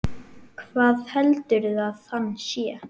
Hver heldur að hann sé?